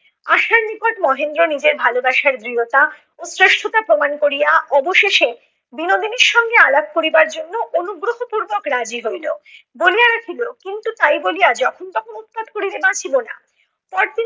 মহেন্দ্র নিজের ভালোবাসার দৃঢ়তা ও শ্রেষ্ঠতা প্রমাণ করিয়া অবশেষে বিনোদিনীর সঙ্গে আলাপ করিবার জন্য অনুগ্রহপূর্বক রাজি হইল। বলিয়া রাখিল, কিন্তু তাই বলিয়া যখন তখন উৎপাত করিলে বাঁচিব না। পরদিন